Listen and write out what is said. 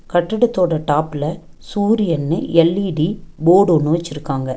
கட்டடத்தோட டாப்ல சூரியன்னு L E D board ஒன்னு வெச்சிருக்காங்க.